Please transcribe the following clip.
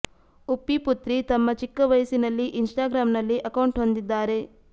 ಉಪ್ಪಿ ಪುತ್ರಿ ತಮ್ಮ ಚಿಕ್ಕ ವಯಸ್ಸಿನಲ್ಲಿ ಇನ್ಸ್ಟಾಗ್ರಾಂ ನಲ್ಲಿ ಅಕೌಂಟ್ ಹೊಂದಿದ್ದಾರೆ